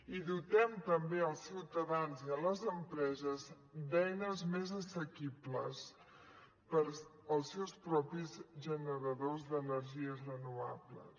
i dotem també els ciutadans i les empreses d’eines més assequibles pels seus propis generadors d’energies renovables